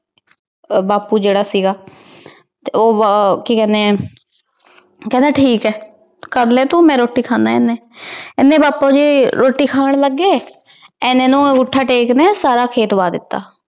ਬਾਪੂ ਜਿਹੜਾ ਸੀਗਾ ਤੇ ਉਹ ਅਹ ਕੀ ਕਹਿੰਦੇ ਕਹਿੰਦਾ ਠੀਕ ਐ। ਕਰਲੈ ਤੂੰ ਮੈਂ ਰੋਟੀ ਖਾਂਦਾ ਏਨੇ। ਏਨੇ ਬਾਪੂ ਜੀ ਰੋਟੀ ਖਾਣ ਲੱਗੇ ਇਨੇ ਨੂੰ ਅੰਗੂਠਾ ਟੇਕ ਨੇ ਸਾਰਾ ਖੇਤ ਵਾਹ ਦਿੱਤਾ।